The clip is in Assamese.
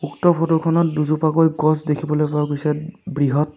উক্ত ফটো খনত দুজোপাকৈ গছ দেখিবলৈ পোৱা গৈছে বৃহৎ।